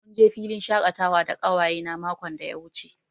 Mun je filin shakatawa da ƙawayena makon da ya wuce.